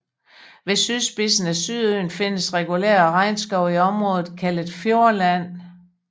Ved sydspidsen af Sydøen findes regulær regnskov i området kaldet Fjordland